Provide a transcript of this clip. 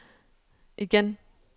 igen